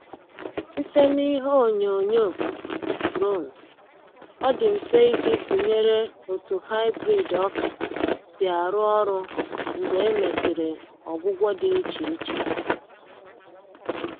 Site na ihe onyoonyo drone, ọ dị mfe iji tụnyere otu hybrid ọka si arụ ọrụ mgbe e mesịrị ọgwụgwọ dị iche iche.